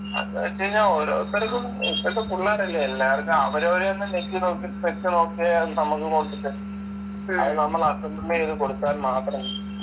അത് വച്ച് കഴിഞ്ഞാ ഓരോരുത്തർക്കും ഇപ്പൊഴത്തെ പുള്ളാരല്ലേ എല്ലാർക്കും അവരവരെന്നെ ഞെക്കി നോക്കി വച്ചു നോക്കേം അത് നമ്മക്ക് കൊണ്ടുത്തരും അത് നമ്മൾ assemble ചെയ്ത് കൊടുത്താൽ മാത്രം